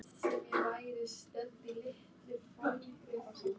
Fréttamaður: Ertu ekki mjög ánægður með hvernig þetta gengur?